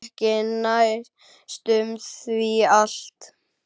Ekki næstum því allt.